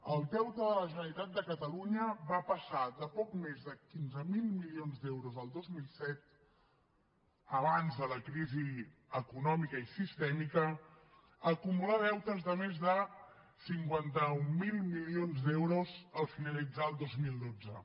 el deute de la generalitat de catalunya va passar de poc més de quinze mil milions d’euros el dos mil set abans de la crisi econòmica i sistèmica a acumular deutes de més de cinquanta mil milions d’euros al finalitzar el dos mil dotze